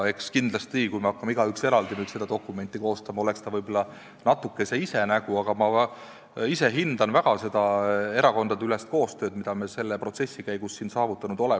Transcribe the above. Eks kindlasti, kui igaüks eraldi hakkaks seda dokumenti koostama, siis oleks ta võib-olla natukene ise nägu, aga ma ise hindan väga seda erakondade koostööd, mille me selle protsessi käigus siin saavutanud oleme.